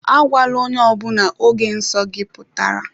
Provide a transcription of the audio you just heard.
Agwala ónyé ọbula ógè nsọ gị pụtara!